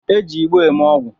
E ji igbo eme ogwu